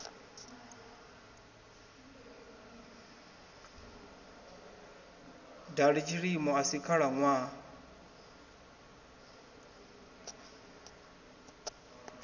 dali tshilimo a si khalaṋwaha